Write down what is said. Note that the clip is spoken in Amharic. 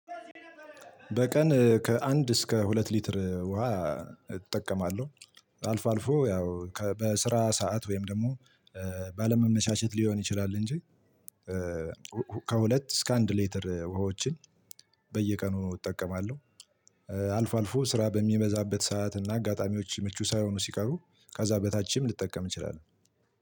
በቀን ከአንድ እስከ ሁለት ሊትር ውሃ እጠቀማለሁ። አልፎ አልፎ ያው በስራ ሰዓት ወይም ደግሞ ባለመመቻቸት ሊሆን ይችላል እንጂ። ከሁለት እስከ አንድ ሌተር ውሃዎችን በየቀኑ እጠቀማለሁ። አልፎ አልፎ ስራ በሚበዛበት ሰዓት እና አጋጣሚዎች ምቹ ሳይሆኑ ሲቀሩ ከዛ በታችም ልጠቀም እንችላለን።